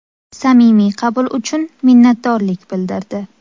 Samimiy qabul uchun minnatdorlik bildirdi.